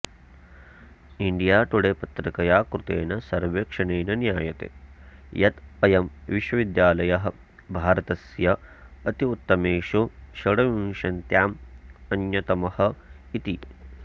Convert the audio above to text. India Today पत्रिकया कृतेन सर्वेक्षणेन ज्ञायते यत् अयं विश्वविद्यालयः भारतस्य अत्युत्तमेषु षड्विंशत्याम् अन्यतमः इति